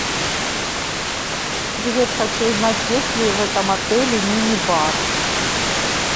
привет хочу узнать есть ли в этом отеле минибар